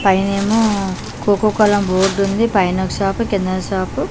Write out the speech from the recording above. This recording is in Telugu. పైనేమో కోకో కోలా బోర్డుంది పైనొక షాపు కిందొక షాపు --